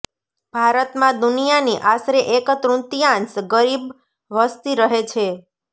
ભારતમાં દુનિયાની આશરે એક તૃતિયાંશ ગરીબ વસતી રહે છે